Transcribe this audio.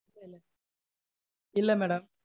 இல்ல madam.